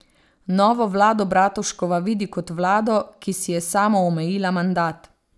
Novo vlado Bratuškova vidi kot vlado, ki si je samoomejila mandat.